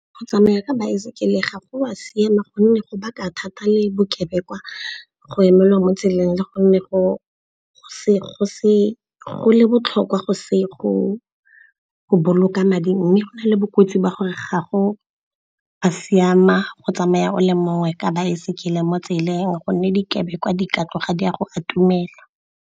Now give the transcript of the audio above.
Go tsamaya ka baesekele ga go a siama gonne go baka thata le bokebekwa, go emelwa mo tseleng le gonne go botlhokwa go le botlhokwa go boloka madi. Mme go na le bokotsi jwa gore gago ba siama go tsamaya o le mongwe ka baesekele mo tseleng gonne dikebekwa di ka tloga di a go atumela.